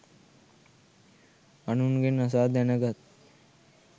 අනුන්ගෙන් අසා දැනගත්